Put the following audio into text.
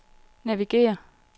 navigér